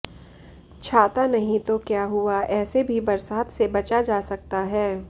छाता नहीं तो क्या हुआ ऐसे भी बरसात से बचा जा सकता है